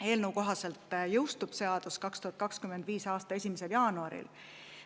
Eelnõu kohaselt jõustub seadus 2025. aasta 1. jaanuaril.